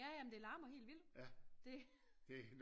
Ja ja men det larmer helt vildt det